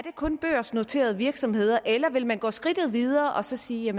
kun børsnoterede virksomheder eller vil man gå skridtet videre og så sige